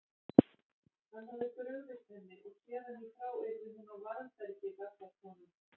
Hann hafði brugðist henni og héðan í frá yrði hún á varðbergi gagnvart honum.